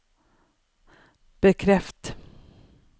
bekreft